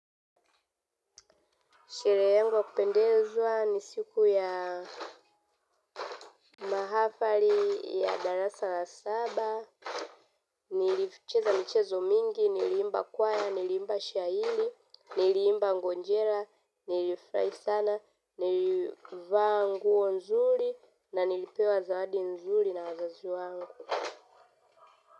Sherehe yangu ya kupendezwa ni siku ya mahafari ya dara sala saba. Nilicheza michezo mingi, niliimba kwaya, niliimba shairi, niliimba ngonjera, nilifurahi sana, nilivaa nguo nzuri, na nilipewa zawadi nzuri na wazazi wangu.